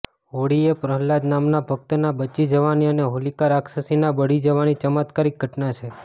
હોળી એ પ્રહ્લાદ નામના ભક્તના બચી જવાની અને હોલિકા રાક્ષસીના બળી જવાની ચમત્કારિક ઘટના છે